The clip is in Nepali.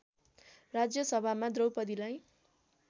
राज्य सभामा द्रौपदीलाई